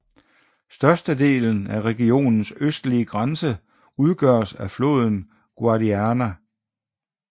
Størstedelen af regionens østlige grænse udgøres af floden Guadiana